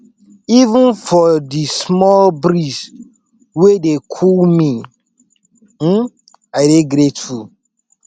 even for di small breeze wey dey cool me um i dey grateful